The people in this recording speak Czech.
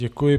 Děkuji.